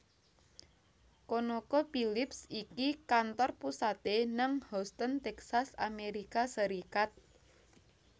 ConocoPhillips iki kantor pusate nang Houston Texas Amerika Serikat